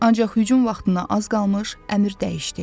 Ancaq hücum vaxtına az qalmış əmr dəyişdi.